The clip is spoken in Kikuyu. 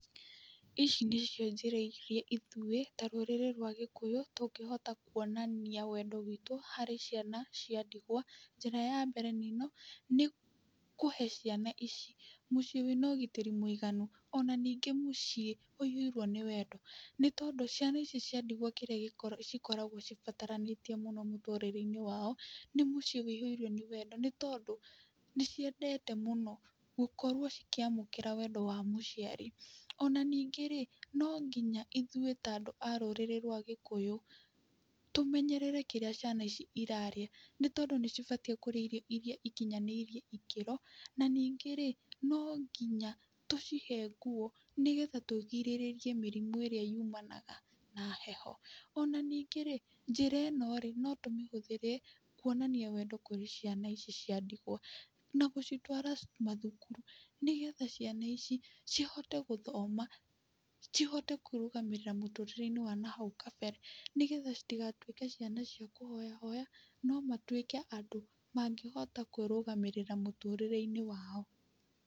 Ici nĩcio njĩra iria ithuĩ ta rũrĩrĩ rwa Gĩkũyũ tũngĩhota kuonania wendo witũ harĩ ciana cia ndigwa. Njĩra ya mbere nĩ ĩno, nĩ kũhe ciana ici mũciĩ wĩna ũgitĩri mũiganu, ona ningĩ mũciĩ wĩihũirwo nĩ wendo, nĩtondũ ciana ici cia ndigwa kĩrĩa gĩkoragwo cikoragwo cibataranĩtie mũno mũtũrĩre-inĩ wao nĩ mũciĩ wĩihũirwo nĩ wendo, nĩtondũ nĩciendete mũno gũkorwo cikĩamũkĩra wendo wa mũciari. Ona ningĩ-rĩ, no nginya ithuĩ ta andũ a rũrĩrĩ rwa Gĩkũyũ tũmenyerere kĩrĩa ciana ici irarĩa, nĩtondũ nĩcibatiĩ kũrĩa irio iria ikinyanĩirie ikĩro. Na, ningĩ-rĩ, no nginya tũcihe nguo nĩgetha tũgirĩrĩrie mĩrimũ ĩrĩa yumanaga na heho. Ona ningĩ-rĩ, njĩra ĩno-rĩ no tũmĩhũthĩre kuonania wendo kũrĩ ciana ici cia ndingwa na gũcitwara mathukuru nĩgetha ciana ici cihote gũthoma, cihote kwĩrũgamĩrĩra mũtũrĩre-inĩ wa na hau kabere, nĩgetha citigatuĩke ciana cia kũhoyahoya, no matuĩke andũ mangĩhota kwĩrũgamĩrĩra mũtũrĩre-inĩ wao.